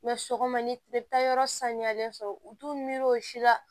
sɔgɔma ni e bɛ taa yɔrɔ saniyalen sɔrɔ u t'u miiri o si la